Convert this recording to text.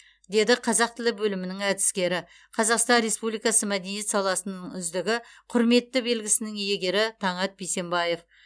деді қазақ тілі бөлімінің әдіскері қазақстан республикасы мәдениет саласының үздігі құрметті белгісінің иегері таңат бейсенбаев